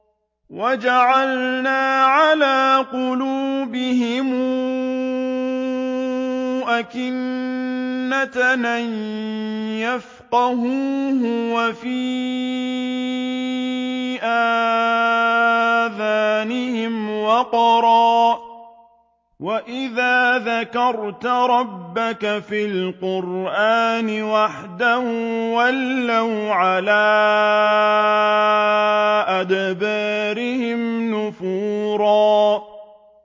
وَجَعَلْنَا عَلَىٰ قُلُوبِهِمْ أَكِنَّةً أَن يَفْقَهُوهُ وَفِي آذَانِهِمْ وَقْرًا ۚ وَإِذَا ذَكَرْتَ رَبَّكَ فِي الْقُرْآنِ وَحْدَهُ وَلَّوْا عَلَىٰ أَدْبَارِهِمْ نُفُورًا